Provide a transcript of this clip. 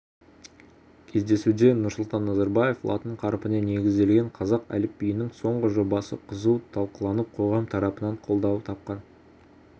кездесуде нұрсұлтан назарбаев латын қарпіне негізделген қазақ әліпбиінің соңғы жобасы қызу талқыланып қоғам тарапынан қолдау тапқанын